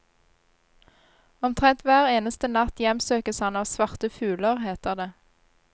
Omtrent hver eneste natt hjemsøkes han av svarte fugler, heter det.